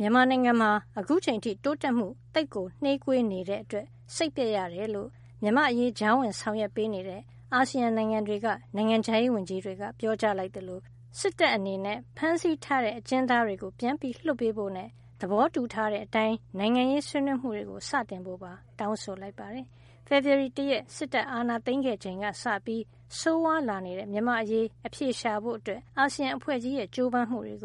မြန်မာနိုင်ငံမှာ အခုချိန်အထိ တိုးတက်မှုသိပ်ကို နှေးကွေးနေတဲ့အတွက် စိတ်ပျက်ရတယ်လို့ မြန်မာ့အရေး ကြားဝင်ဆောင်ရွက်ပေးနေတဲ့ အာဆီယံနိုင်ငံတွေက နိုင်ငံခြားရေးဝန်ကြီးတွေက ပြောကြားလိုက်သလို စစ်တပ်အနေနဲ့ ဖမ်းထားတဲ့အကျဉ်းသားတွေကို ပြန်လွှတ်ပေးဖို့နဲ့ သဘောတူထားတဲ့ အတိုင်း နိုင်ငံရေးဆွေးနွေးမှုတွေ စတင်ဖို့ပါ တောင်းဆိုလိုက်ပါတယ်။ ဖေဖေါ်ဝါရီ ၁ ရက် စစ်တပ်အာဏာသိမ်းခဲ့ချိန်ကစပြီး ဆိုးဝါးလာနေတဲ့ မြန်မာ့အရေးအဖြေရှာဖို့ အာဆီယံအဖွဲ့ကြီးရဲ့ ကြိုးပမ်းမှုကို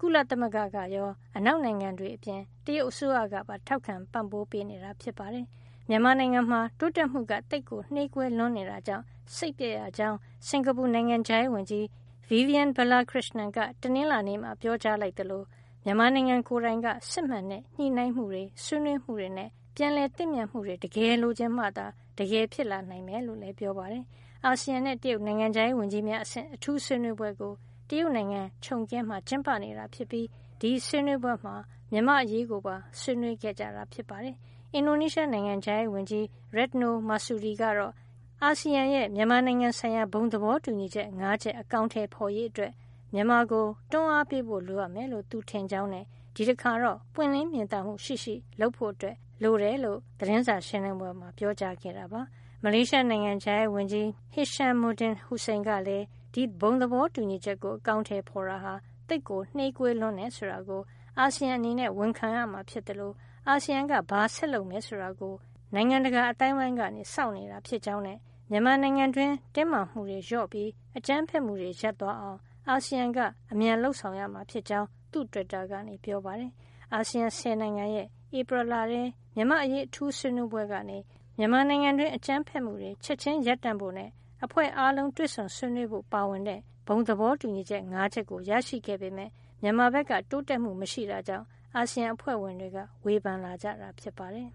ကုလသမဂ္ဂကရော အနောက်နိုင်ငံတွေ အပြင် တရုတ်အစိုးရကပါ ထောက်ခံပြီး ပံ့ပိုးပေးနေတာဖြစ်ပါတယ်။ မြန်မာနိုင်ငံမှာ တိုးတက်မှုက သိပ်ကိုနှေးကွေးလွန်နေတာကြောင့် စိတ်ပျက်ရကြောင်း စင်္ကာပူ နိုင်ငံခြားရေးဝန်ကြီး Vivian Balakrishnan က တနင်္လာနေ့မှာ ပြောကြားလိုက်သလို မြန်မာနိုင်ငံကိုယ်တိုင်က စစ်မှန်တဲ့ ညှိနှိုင်းမှုတွေ၊ ဆွေးနွေးမှုတွေနဲ့ ပြန်လည်သင့်မြတ်မှုတွေ တကယ်လိုချင်မှသာ တကယ်ဖြစ်လာနိုင်မယ်လို့ ပြောပါတယ်။ အာဆီယံနဲ့ တရုတ် နိုင်ငံခြားရေးဝန်ကြီးများအဆင့် အထူး ဆွေးနွေးပွဲကို တရုတ်နိုင်ငံ ချုံကင်းမှာ ကျင်းပနေတာဖြစ်ပြီး ဒီဆွေးနွေးပွဲမှာ မြန်မာ့အရေးကိုပါ ဆွေးနွေးခဲ့ကြတာ ဖြစ်ပါတယ်။ အင်ဒိုနီးရှား နိုင်ငံခြားရေးဝန်ကြီး Retno Marsudi ကတော့ ဒီ ဘုံသဘောတူညီချက် ၅ ချက် အကောင်ထည်ဖေါ်ရေးအတွက် မြန်မာကို တွန်းအားပေးဖို့ လိုအပ်မယ်လို့ သူထင်ကြောင်း နဲ့ ဒီတခါတော့ ပွင့်လင်းမြင်သာမှု ရှိရှိ လုပ်ဖို့ သတင်းစာရှင်းလင်းပွဲမှာ ပြောကြားခဲ့တာပါ။ မလေးရှားနိုင်ငံခြားရေးဝန်ကြီး Hishammuddin Hussein ကလည်း ဒီဘုံသဘောတူညီချက်ကို အကောင်ထည်ဖေါ်တာ သိပ်နှေးကွေးလွန်တယ်ဆိုတာကို အာဆီယံအနေနဲ့ ဝန်ခံရမှာ ဖြစ်သလို အာဆီယံက ဘာဆက်လုပ်မယ်ဆိုတာ နိုင်ငံတကာ အသိုင်းအဝိုင်းက စောင့်နေတာ ဖြစ်ကြောင်း နဲ့ မြန်မာနိုင်ငံတွင်း တင်းမာမှုတွေလျော့ပြီး အကြမ်းဖက်မှုတွေ ရပ်သွားအောင် အာဆီယံကအမြန်လုပ်ဆောင်ရမှာ ဖြစ်ကြောင်း သူ့တွစ်တာကနေ ပြောပါတယ်။ အာဆီယံဆယ်နိုင်ငံရဲ့ ဧပြီလထဲ မြန်မာ့အရေးအထူးဆွေးနွေးပွဲ ကနေ မြန်မာနိုင်ငံတွင်း အကြမ်းဖက်မှုတွေ ချက်ချင်းရပ်တန့်ဖို့နဲ့ အဖွဲ့အားလုံးတွေ့ဆုံဆွေးနွေးဖို့ ပါဝင်တဲ့ ဘုံသဘောတူညီချက် ၅ ချက်ကို ရရှိခဲ့ပေမယ့် မြန်မာဘက်က တိုးတက်မှုမရှိတာကြောင့် အာဆီယံအဖွဲ့ဝင်တွေက ဝေဖန်လာတာ ဖြစ်ပါတယ်။